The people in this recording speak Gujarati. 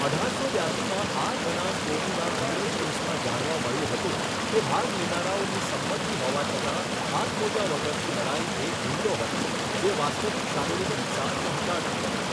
અઢારસો બ્યાશીમાં આર બનામ કોનીના અંગ્રેજ કેસમાં જાણવા મળ્યું હતું કે ભાગ લેનારાઓની સંમતિ હોવા છતાં, હાથમોજા વગરની લડાઈ એક હુમલો હતી જે વાસ્તવિક શારીરિક નુકસાન પહોંચાડતી હતી.